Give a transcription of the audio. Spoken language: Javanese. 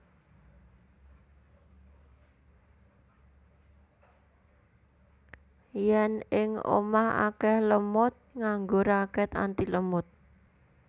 Yen ing omah akeh lemud nganggo raket antilemud